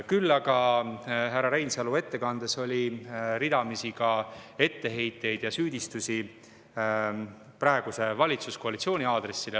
Küll aga oli härra Reinsalu ettekandes ka ridamisi etteheiteid ja süüdistusi praeguse valitsuskoalitsiooni aadressil.